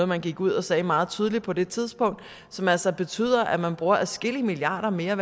man gik ud og sagde meget tydeligt på det tidspunkt og som altså betyder at man bruger adskillige milliarder mere